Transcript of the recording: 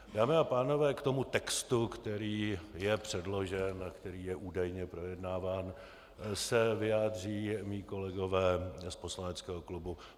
Dámy a pánové, k tomu textu, který je předložen a který je údajně projednáván, se vyjádří mí kolegové z poslaneckého klubu.